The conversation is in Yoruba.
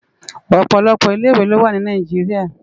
Òpòlòpò ilé iwé lo wá ni Nàijiriá